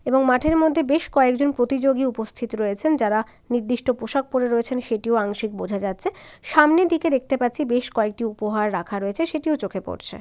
এবং মাঠের মধ্যে বেশ কয়েকজন প্রতিযোগী উপস্থিত রয়েছেন যারা নির্দিষ্ট পোশাক পড়ে রয়েছেনসেটিও আংশিক বোঝা যাচ্ছে সামনে দিকে দেখতে পাচ্ছি বেশ কয়েকটি উপহার রাখা রয়েছেসেটিও চোখে পড়ছে।